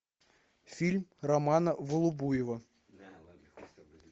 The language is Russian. фильм романа волобуева